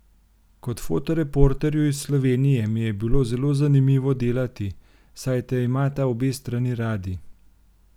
Kot fotoreporterju iz Slovenije mi je bilo zelo zanimivo delati, saj te imata obe strani radi.